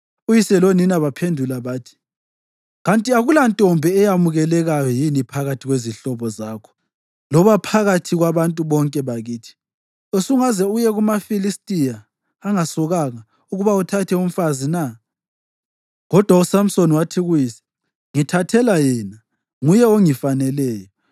Uyise lonina baphendula bathi, “Kanti akulantombi eyamukelekayo yini phakathi kwezihlobo zakho loba phakathi kwabantu bonke bakithi? Usungaze uye kumaFilistiya angasokanga ukuba uthathe umfazi na?” Kodwa uSamsoni wathi kuyise, “Ngithathela yena. Nguye ongifaneleyo.”